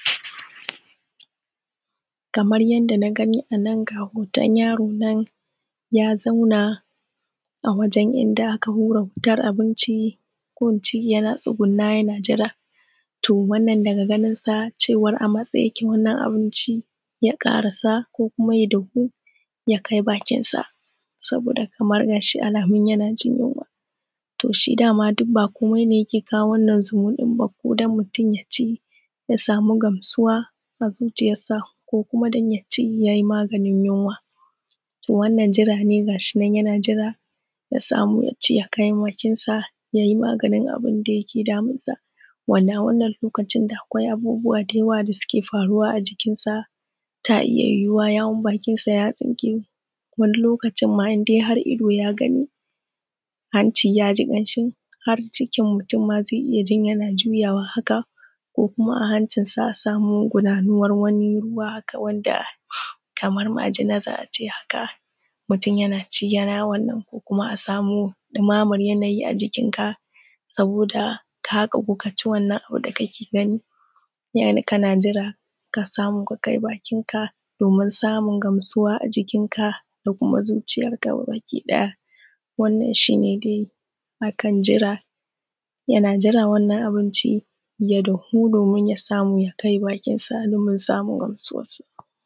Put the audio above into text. Kamar yadda na gani a nan ga hoton yaro nan ya zauna a wajen inda aka hura wutar abinci yana tsgunne yana jira. To wann daga ganinsa cewar a matse yake wannan abinci ya karasa ko kuma ya dahu ya kai bakinsa. Saboda da alamun yana jin yinwa. To shi dama duk ba komai ba ne yake kawo wannan zumuɗin ba ne sai don mutum ya ci ya samu gasuwa a zuciyarsa ko kuma don ya ci ya yi maganin yinwa. To wannan jira ne ga shi nan yana jira ya samu ya ci ya kai bakinsa ya yi maganin abun da yake damunsa. Wanda a wannan lokaci akwai abubuwa da yawa wanda suke faruwa a jikinsa ta iya yuwuwa yawun bakinsa ya tsinke wani lokacin ma idan har ido ya gani hanci ya ji kanshi har cikin mutum ma zai iya juyawa haka. Ko kuma a hancinsa a sama wani gudanuwar ruwa haka kamar majina za a ce haka, mutum yana ci yana fita. Kuma a samu ɗimamar yanayi a jikinka saboda ka ƙagu ka ci wannan abu da kake gani kake jira ka samu ka kai baki domin samu gamsuwa a jikinka da kuma zuciyarka baki ɗaya. Wanna shi ne dai a kan jira yana jira wannan abinci ya dahu domin ya samu ya kai bakinsa a lokacin domin samun gasuwa.